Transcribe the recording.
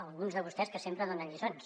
alguns de vostès que sempre donen lliçons